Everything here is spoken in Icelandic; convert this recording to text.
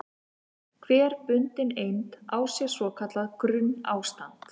Hver bundin eind á sér svo kallað grunnástand.